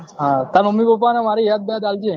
હા તાર mummy papa મારી યાદ બ્યાદ આલજે